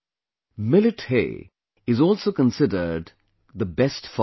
Millet hay is also considered the best fodder